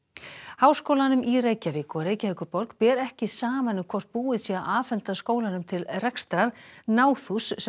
háskólanum í Reykjavík og Reykjavíkurborg ber ekki saman um hvort búið sé að afhenda skólanum til rekstrar náðhús sem